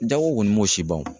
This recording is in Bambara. Jago kɔni m'o si ban o